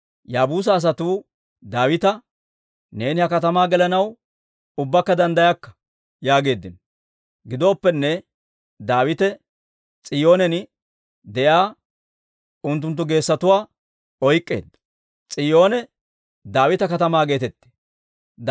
Yaabuusa asatuu Daawita, «Neeni ha katamaa gelanaw ubbakka danddayakka» yaageeddino. Gidooppenne, Daawite S'iyoonen de'iyaa unttunttu geesatuwaa oyk'k'eedda; S'iyoone Daawita Katamaa geetetteedda.